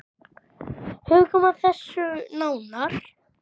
Hugum að þessu nánar.